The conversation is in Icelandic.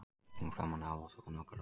Mikil rigning framan af og þónokkuð rok.